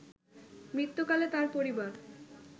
মৃত্যুকালে তার পরিবার